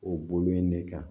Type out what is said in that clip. O bolo in ne kan